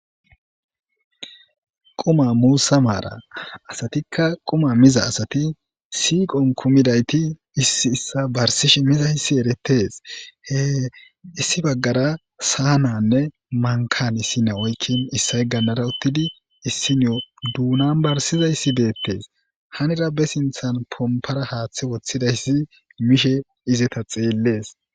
Quma muussa maara asatikka quma miza asati siiqon kumidayti issi issa barsishe miza hissi eretes hee issi baggara saa nanne mankan issine oykkin issay gannara uttidi issinio duunan barsiza issi deettes hanira besinthan pompara haaththe woththidayssi mishe izeta xeellees.